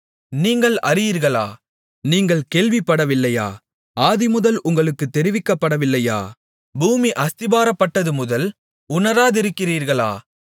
நீங்கள் அறியீர்களா நீங்கள் கேள்விப்படவில்லையா ஆதிமுதல் உங்களுக்குத் தெரிவிக்கப்படவில்லையா பூமி அஸ்திபாரப்பட்டதுமுதல் உணராதிருக்கிறீர்களா